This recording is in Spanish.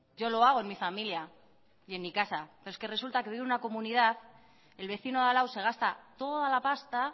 yo lo hago en mi familia y en mi casa pero es que resulta que vivo en una comunidad el vecino de a lado se gasta toda la pasta